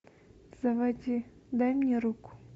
заводи дай мне руку